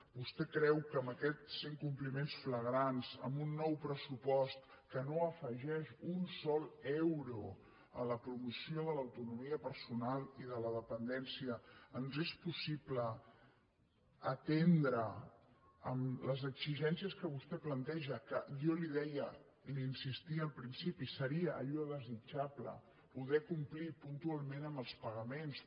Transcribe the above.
vostè creu que amb aquests incompliments flagrants amb un nou pressupost que no afegeix un sol euro a la promoció de l’autonomia personal i de la dependència ens és possible atendre amb les exigències que vostè planteja que jo li deia li insistia al principi seria allò desitjable poder complir puntualment amb els pagaments